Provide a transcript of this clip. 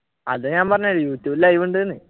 അതാണ് ഞാൻ പറഞ്ഞത് youtube ഇൽ ലൈവ് ഉണ്ടെന്ന്